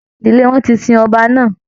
Ìdílé wọn ti sin ọba náà.